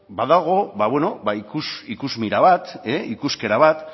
badago ikusmira bat ikuskera bat